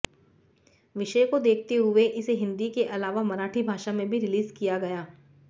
विषय को देखते हुए इसे हिंदी के अलावा मराठी भाषा में भी रिलीज़ किया गया